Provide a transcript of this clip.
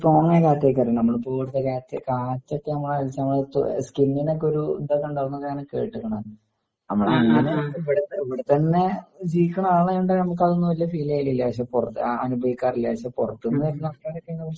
Strong ആയ കാറ്റായിരിക്കും . നമ്മൾ ഇപ്പോ ഇവിടത്തെ കാറ്റൊക്കെ നമ്മളെ അടിച്ചാ നമ്മുടെ സകിന്നിനൊക്കെ ഒരു ഇതൊക്കെ ഉണ്ടാകും എന്നാണ് കെട്ടിക്കണ്. നമ്മള് അങ്ങനെ ഇവിടെ തന്നെ ജീവിക്കണ ആളായത് കൊണ്ട് നമുക്കങ്ങനെ ഫീല് ചെയ്യലില്ല അനുഭവിക്കാറില്ല. പക്ഷേ പുറത്ത് നിന്ന് വരുന്ന ആൾക്കാരൊക്കെ